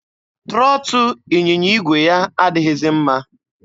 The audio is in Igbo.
Trọtụ ịnyịnya igwe ya adịghịzi mma.